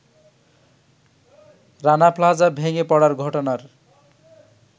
Rana Plaza ভেঙে পড়ার ঘটনার